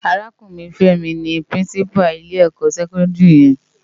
Árákúrin Femi ni Pirinsipá ilé èkò sèkòndiri yèn